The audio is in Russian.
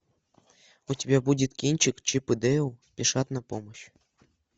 у тебя будет кинчик чип и дейл спешат на помощь